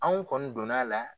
Anw kɔni donna a la